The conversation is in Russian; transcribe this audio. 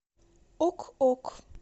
ок ок